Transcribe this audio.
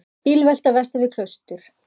Bílvelta vestan við Klaustur